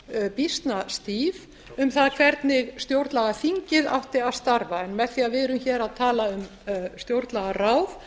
umgjörð býsna stíf um það hvernig stjórnlagaþingið átti að starfa en með því að við erum hér að tala um stjórnlagaráð